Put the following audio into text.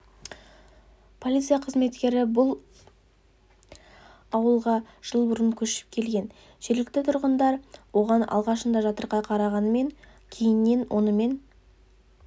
полиция қызметкері бұл ауылға жыл бұрын көшіп келген жергілікті тұрғындар оған алғашында жатырқай қарағанымен кейіннен онымен